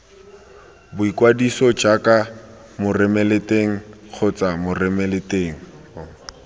boikwadiso jaaka moromelateng kgotsa moromelateng